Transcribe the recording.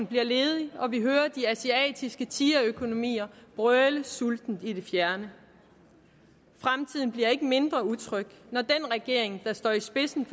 bliver ledig og vi hører de asiatiske tigerøkonomier brøle sultent i det fjerne fremtiden bliver ikke mindre utryg når den regering der står i spidsen